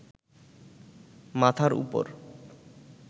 মাথার উপর